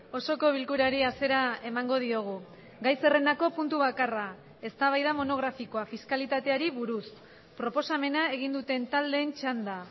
osoko bilkurari hasiera emango diogu gai zerrendako puntu bakarra eztabaida monografikoa fiskalitateari buruz proposamena egin duten taldeen txanda